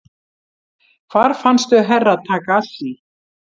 Hvar fannstu Herra Takashi?